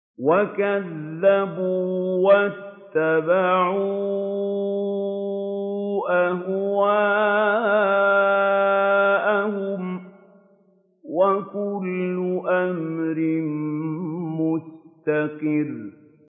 وَكَذَّبُوا وَاتَّبَعُوا أَهْوَاءَهُمْ ۚ وَكُلُّ أَمْرٍ مُّسْتَقِرٌّ